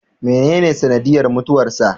Menene sanadiyyar mutuwarsa?